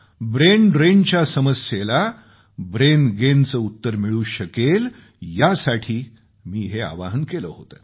brain ड्रेनच्या समस्येला ब्रेनगेनचे उत्तर मिळू शकेल यासाठी मी हे आवाहन केलं होतं